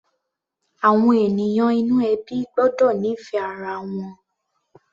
Àwọn ènìyàn inú ẹbí gbọ́dọ̀ nífẹ̀ẹ́ ara wọn.